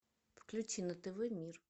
включи на тв мир